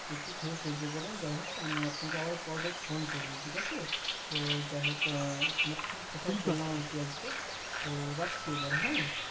একটু খেয়ে সহ্য করেন যাই হোক আমি আপনাকে আবার পরে phone করি ঠিকাছে তো যাই হোক ও এখন কথা বললাম যাই হোক আজকে তো রাখছি এবার হ্যাঁ